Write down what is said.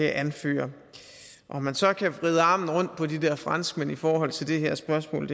anføre om man så kan vride armen rundt på de der franskmænd i forhold til det her spørgsmål